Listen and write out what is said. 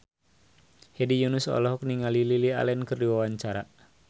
Hedi Yunus olohok ningali Lily Allen keur diwawancara